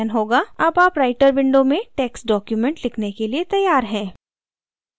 अब आप writer window में text document लिखने के लिए तैयार हैं